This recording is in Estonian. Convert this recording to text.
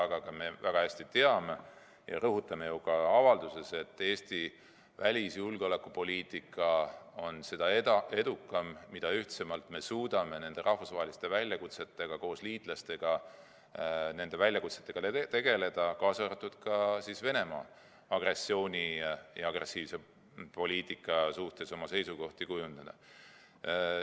Me teame väga hästi ja rõhutame ka avalduses, et Eesti välis- ja julgeolekupoliitika on seda edukam, mida ühtsemalt me suudame liitlaste abil rahvusvaheliste väljakutsetega tegeleda, kaasa arvatud Venemaa agressiooni ja agressiivse poliitika suhtes oma seisukohti kujundada.